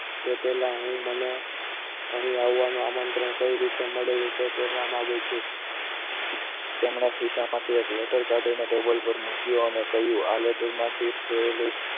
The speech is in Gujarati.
તે પહેલા હું મને અહીં આવવાનું આમંત્રણ કઈ રીતે મળેલું તે કહેવા માગું છું તેમના ખિસ્સામાંથી એક letter કાઢીને table પર મૂક્યો અને આ કહ્યું કે આ letter માંથી